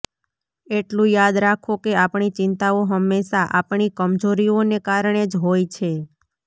એટલું યાદ રાખો કે આપણી ચિંતાઓ હંમેશા આપણી કમજોરીઓને કારણે જ હોય છે